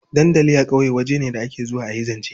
Dandali a ƙauye waje ne da ake zuwa a yi zance.